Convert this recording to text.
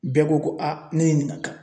Bɛɛ ko ko ne ye nin ka kan.